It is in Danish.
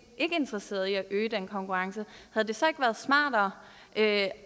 interesseret i at øge den konkurrence havde det så ikke været smartere af